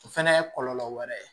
O fɛnɛ ye kɔlɔlɔ wɛrɛ ye